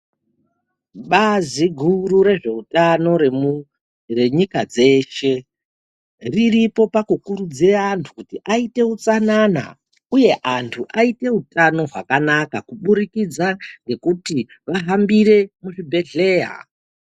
Bazi guru rezveutano renyika dzeshe riripo pakukuridzira antu kuti aite utsanana, uye antu aite utano hwakanaka kuburikidza ngekuti vahambire muzvibhedheya.